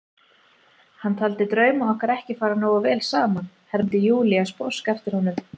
Hann taldi drauma okkar ekki fara nógu vel saman, hermdi Júlía sposk eftir honum.